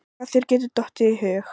Hvað þér getur dottið í hug.